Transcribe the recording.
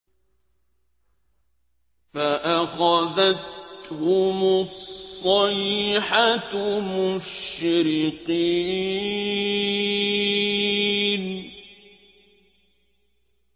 فَأَخَذَتْهُمُ الصَّيْحَةُ مُشْرِقِينَ